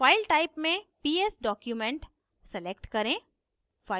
file type में ps document select करें